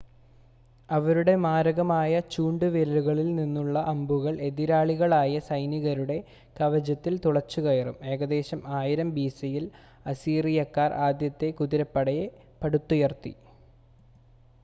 അവരുടെ മാരകമായ ചൂണ്ട് വില്ലുകളിൽ നിന്നുള്ള അമ്പുകൾ എതിരാളികളായ സൈനികരുടെ കവചത്തിൽ തുളച്ചുകയറും ഏകദേശം 1000 ബിസിയിൽ അസീറിയക്കാർ ആദ്യത്തെ കുതിരപ്പടയെ പടുത്തുയർത്തി